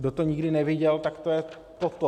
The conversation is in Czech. Kdo to nikdy neviděl, tak to je toto.